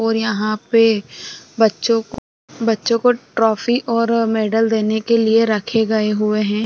और यहाँ पे बच्चों को बच्चों को ट्रॉफी और मैडल देने के लिए रखे गए हुए हैं।